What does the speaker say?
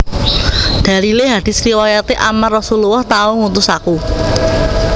Dalilé hadits riwayaté Ammar Rasullullah tau ngutus aku